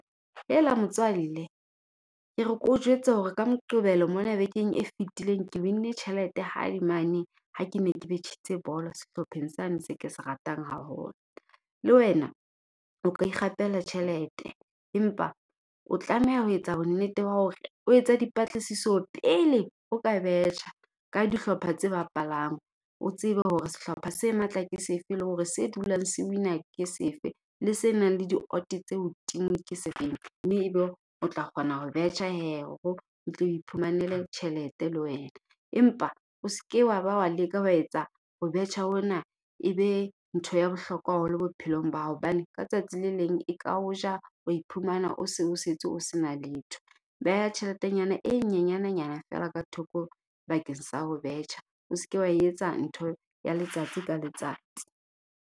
Hela motswalle ke re keo jwetse hore ka Moqebelo mona bekeng e fetileng ke win-ne tjhelete hae mane. Ha ke ne ke betjhitse bolo sehlopheng sane se ke se ratang haholo. Le wena o ka ikgapela tjhelete, empa o tlameha ho etsa bonnete wa hore o etsa dipatlisiso pele o ka betjha ka dihlopha tse bapalang. O tsebe hore sehlopha se matla ke sefe, le hore se dulang se win-na ke sefe. Le se nang le di-odd tse hodimo ke sefeng mme e be o tla kgona ho betjha he hore o tlo iphumanele tjhelete le wena. Empa o se ke wa ba wa leka wa etsa ho betjha hona e be ntho ya bohlokwa haholo bophelong ba hao. Hobane ka tsatsi le leng e ka o ja, wa iphumana o se o setse o sena letho. Beha tjheletenyana e nyenyana nyana feela ka thoko bakeng sa ho betjha. O se ke wa e etsa ntho ya letsatsi ka letsatsi.